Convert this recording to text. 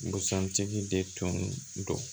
Busan tigi de tun don